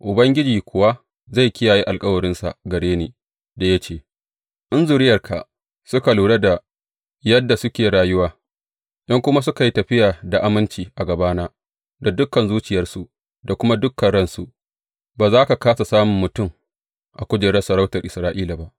Ubangiji kuwa zai kiyaye alkawarinsa gare ni da ya ce, In zuriyarka suka lura da yadda suke rayuwa, in kuma suka yi tafiya da aminci a gabana da dukan zuciyarsu, da kuma dukan ransu, ba za ka kāsa samun mutum a kujerar sarautar Isra’ila ba.’